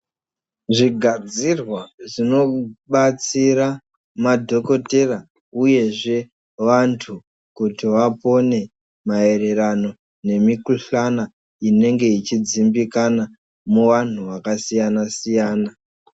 Zvigadzirwa zvinobatsira madhokoteya uyezve vantu kuti vapone maererano nemikhulana inenge ichidzimbikana muvanhu yakasiyana siyana.